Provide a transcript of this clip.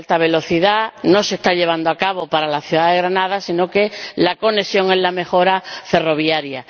No se está llevando a cabo para la ciudad de Granada, sino que la conexión es la mejora ferroviaria.